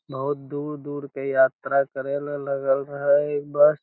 बहुत दूर-दूर के यात्रा करल लगल रहे ई बस --